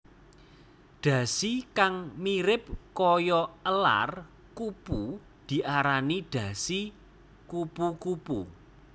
Dhasi kang mirip kaya elar kupu diarani dhasi kupu kupu